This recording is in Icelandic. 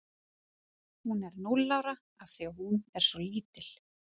Hún er núll ára af því að hún er svo lítil.